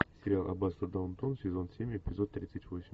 сериал аббатство даунтон сезон семь эпизод тридцать восемь